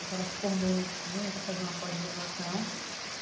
Então ela se formou em medicina e está fazendo uma pós-graduação.